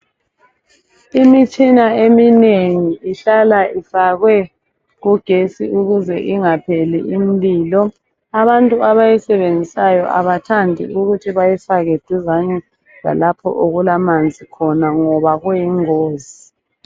Imitshina eminengi ihlala ifakwe kugesi ukuze ingapheli umlilo. Abantu abayisebenzisayo abathandi ukuthi bayifake duzane lalapho okulamanzi khona ngoba kuyingozi.